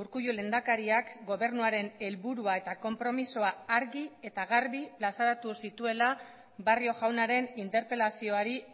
urkullu lehendakariak gobernuaren helburua eta konpromisoa argi eta garbi plazaratu zituela barrio jaunaren interpelazioari